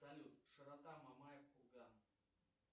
салют широта мамаев курган